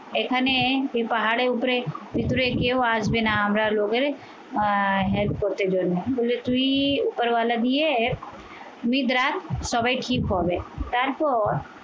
এখানে কি পাহাড়ের উপরে কেউ আসবে না। আমরা লোকের আহ help করতে জন্য বলে তুই উপরওয়ালা দিয়ে নিদ্রা সবাই ঠিক হবে তারপর